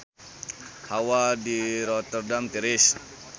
Hawa di Rotterdam tiris